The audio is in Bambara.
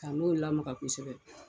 Ka n'o lamaga kosɛbɛ